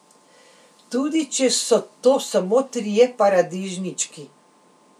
Tudi če so to samo trije paradižnički.